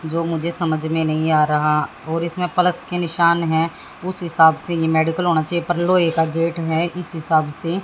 जो मुझे समझ में नहीं आ रहा और इसमें प्लस के निशान है उस हिसाब से यह मेडिकल होना चाहिए पर लोहे का गेट है इस हिसाब से--